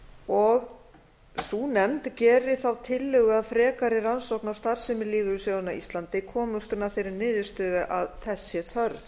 og sú nefnd geri þá tillögu að frekari rannsókn á starfsemi lífeyrissjóðanna á íslandi komist hún að þeirri niðurstöðu að þess sé þörf